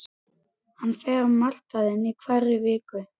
Hann fer á markaðinn í hverri viku.